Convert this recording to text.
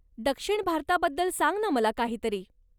दक्षिण भारताबद्दल सांग ना मला काहीतरी.